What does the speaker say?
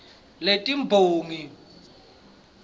letimbongi